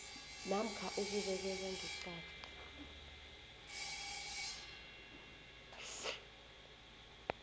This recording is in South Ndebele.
namkha ukubekelwa ngeqadi